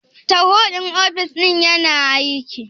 Tarho ɗin ofis ɗinnan yana aiki?